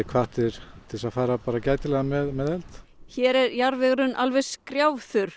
hvattir til að fara gætilega með eld hér er jarðvegurinn